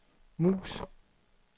mus